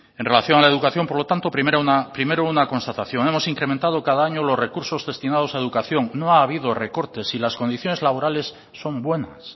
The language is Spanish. en relación a la educación por lo tanto primero una constatación hemos incrementado cada año los recursos destinados a educación no ha habido recortes y las condiciones laborales son buenas